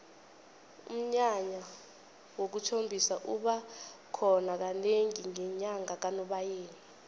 umnyanya wokuthombisa uba khona kanengi ngenyanga kanobayeni